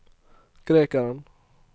grekeren